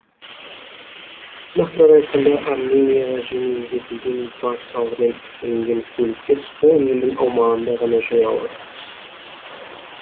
нақтырақ айтқанда арменияға жеңілдетілген баж салығымен әкелінген көліктер сол елдің аумағында ғана жүре алады